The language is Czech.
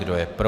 Kdo je pro?